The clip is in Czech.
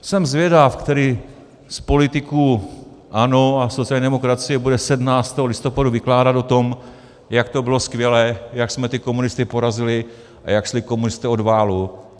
Jsem zvědav, který z politiků ANO a sociální demokracie bude 17. listopadu vykládat o tom, jak to bylo skvělé, jak jsme ty komunisty porazili a jak šli komunisté od válu.